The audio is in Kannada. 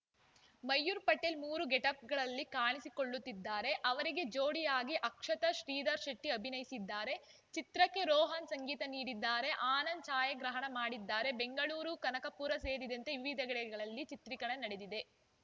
ಮಯೂರ್‌ ಪಟೇಲ್‌ ಮೂರು ಗೆಟಪ್‌ಗಳಲ್ಲಿ ಕಾಣಿಸಿಕೊಳ್ಳುತ್ತಿದ್ದಾರೆ ಅವರಿಗೆ ಜೋಡಿ ಆಗಿ ಅಕ್ಷತಾ ಶ್ರೀಧರ್‌ ಶೆಟ್ಟಿಅಭಿನಯಿಸಿದ್ದಾರೆ ಚಿತ್ರಕ್ಕೆ ರೋಹನ್‌ ಸಂಗೀತ ನೀಡಿದ್ದಾರೆ ಆನಂದ್‌ ಛಾಯಾಗ್ರಹಣ ಮಾಡಿದ್ದಾರೆ ಬೆಂಗಳೂರು ಕನಕಪುರ ಸೇರಿದಂತೆ ವಿವಿಧೆಡೆಗಳಲ್ಲಿ ಚಿತ್ರೀಕರಣ ನಡೆದಿದೆ